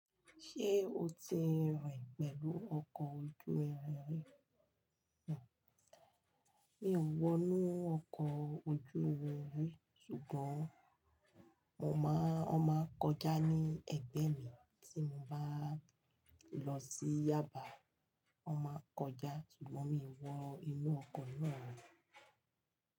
Ṣé o ti rìn pẹ̀lú ọkọ̀ ojú irin rí? Kò, mi ò wọ inú ọkọ̀ ojú omi rí sùgbọ́n mo máa, wọ́n máa ń kọjá ní ẹ̀gbẹ́ mi tí mo bá lọ sí Yaba. Wọ́n máa ń kọjá ṣùgbọ́n mi ò wọ inú ọkọ̀ náà rí.